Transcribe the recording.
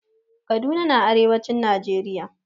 Kaduna na arewacin najeriya